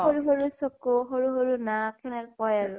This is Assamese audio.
সৰু সৰু চকু, সৰু সৰু নাক, সেনেকে কয় আৰু ।